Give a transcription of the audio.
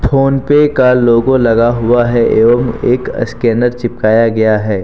PhonePe का logo लगा हुआ है एवं एक स्कैनर चिपकाया गया है।